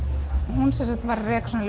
hún var að reka svona